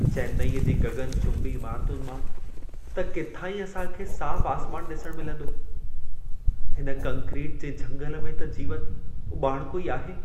चेन्नईअ जी गगनचुंबी इमारतुनि मां त किथां ई असां खे साफ़ आसमान ॾिसण मिलंदो। हिन कंक्रीट जे झंगल में त जीवन उॿाणिको ई आहे।